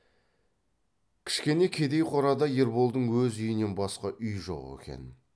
кішкене кедей қорада ерболдың өз үйінен басқа үй жоқ екен